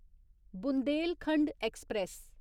Bundelkhand express